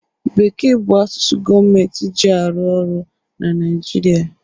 Bekee bụ asụsụ gọọmentị ji arụ orụ na Naịjirịa